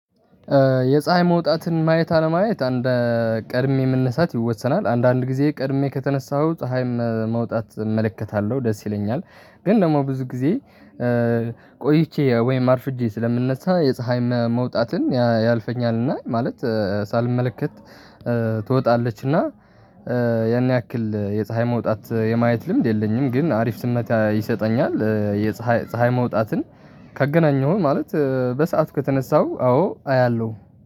የፀሀይ መውጣትን ማየት አለማየት እንደ ቀድሜ መነሳት ይወሰናል አንዳንድ ጊዜ ቀድሜ ከተነሳሁ ፀሀይም መውጣት እመለከታለሁ ደስ ይለኛል ግን ደግሞ ብዙ ጊዜ። ቆይቼ ወይም አርፍጄ ስለምነሳ የፀሀይ መመውጣትን ያያልፈኛል እና ማለት ሳልመለከት ትወጣለች እና ያን ያክል የፀሀይ መውጣት የማየት ልምድ የለኝም። ግን አሪፍ ስሜት ይሰጠኛል የፀሀይ ፀሀይ መውጣትን ካገናኘሁኝ ማለት በሰአት ከተነሳሁ አዎ አያለሁ።